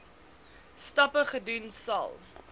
stappe gedoen sal